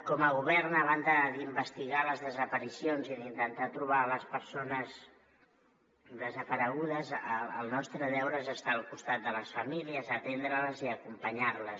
com a govern a banda d’investigar les desaparicions i d’intentar trobar les persones desaparegudes el nostre deure és estar al costat de les famílies atendre les i acompanyar les